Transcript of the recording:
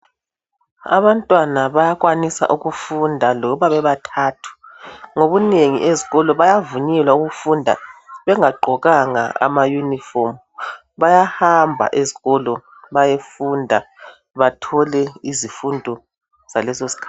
Abantwana bayakwanisa ukufunda loba bebathathu, ngobunengi ezikolo bayavunyelwa ukufunda bengagqokanga amayunifomu . Bayahamba ezikolo bayefunda bathole izifundo zaleso sikhathi.